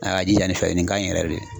A y'a jija nin fɛ nin kaɲi yɛrɛ de